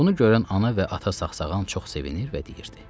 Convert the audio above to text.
Bunu görən ana və ata saxsağan çox sevinir və deyirdi: